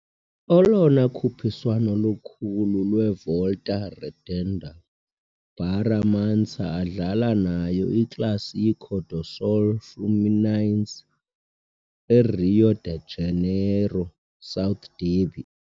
Olona khuphiswano lukhulu lwevolta Redonda Barra Mansa adlala nayo iClássico do Sul Fluminense, i-Rio de Janeiro's South derby.